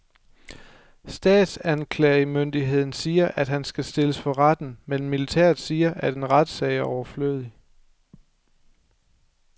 Statsanklagermyndigheden siger, at han skal stilles for retten, men militæret siger, at en retssag er overflødig.